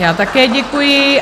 Já také děkuji.